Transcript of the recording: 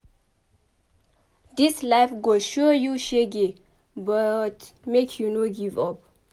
Dis life go show you shege but make you no give up.